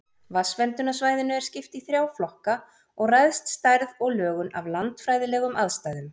Vatnsverndarsvæðinu er skipt í þrjá flokka og ræðst stærð og lögun af landfræðilegum aðstæðum.